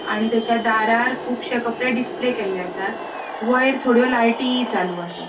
आणि तेच्या दारार कूबशे कपड़े डिस्प्ले केले आसात. वयर थोड्यो लायटी चालू आसात.